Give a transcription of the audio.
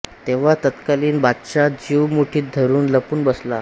तेव्हा तत्कालीन बादशहा जीव मुठीत धरून लपून बसला